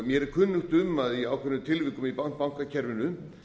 mér er kunnugt um að í ákveðnum fyrirtækjum í bankakerfinu